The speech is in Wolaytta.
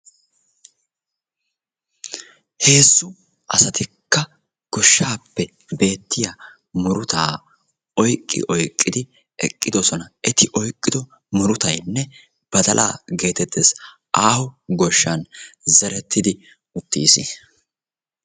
heezzu asatikka goshshappe bettiyaa murutaa oyqqi oyqqid eqqidoosna. eti oyqqido murutay badalaa getettees. aaho goshshan zerettidi uttiis.